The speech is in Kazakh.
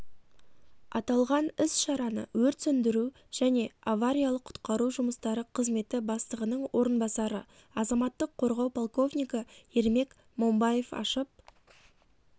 аталған іс-шараны өрт сөндіру және авариялық-құтқару жұмыстары қызметі бастығының орынбасары азаматтық қорғау полковнигі ермек момбаев ашып